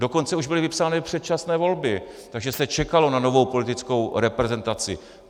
Dokonce už byly vypsány předčasné volby, takže se čekalo na novou politickou reprezentaci.